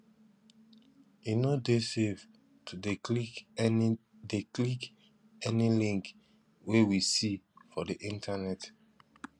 e no dey safe to dey click any dey click any link wey we see for di internet